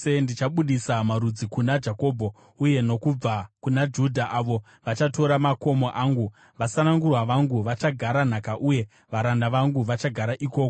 Ndichabudisa marudzi kuna Jakobho, uye nokubva kuna Judha avo vachatora makomo angu; vasanangurwa vangu vachagara nhaka, uye varanda vangu vachagara ikoko.